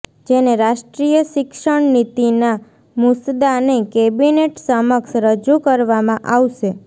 જેને રાષ્ટ્રીય શિક્ષણ નીતિના મુસદ્દાને કેબિનેટ સમક્ષ રજૂ કરવામાં આવશે